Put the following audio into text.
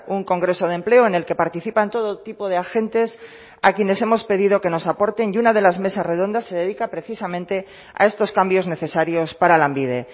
un congreso de empleo en el que participan todo tipo de agentes a quienes hemos pedido que nos aporten y una de las mesas redondas se dedica precisamente a estos cambios necesarios para lanbide